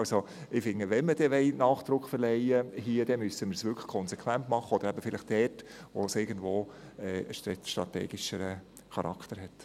Ich finde, wenn wir dem hier Nachdruck verleihen wollen, müssen wir es wirklich konsequent machen, eben vielleicht dort, wo es strategischeren Charakter hat.